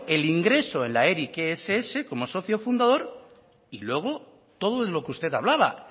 el ingreso en la eric ess como socio fundador y luego todo lo que usted hablaba